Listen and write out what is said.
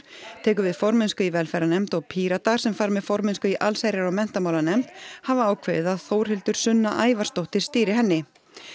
tekur við formennsku í velferðarnefnd og Píratar sem fara með formennsku í allsherjar og menntamálanefnd hafa ákveðið að Þórhildur Sunna Ævarsdóttir stýri henni